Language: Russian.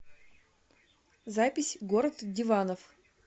запись город диванов